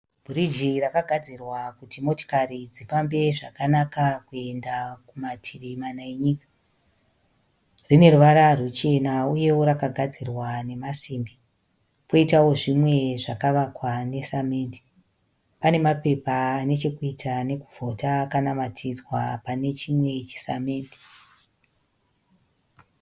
Bhiriji rakagadzirwa kuti motikari dzifambe zvakanaka kuenda kumativi mana enyika. Rine ruvara ruchena uyewo rakagadzirwa nemasimbi. Koitawo zvimwe zvakavakwa nesamende. Pane mapepa anechokuita nekuvhota akanamatidzwa pane chimwe chisamende.